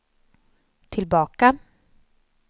tillbaka